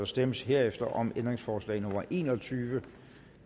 stemmes herefter om ændringsforslag nummer en og tyve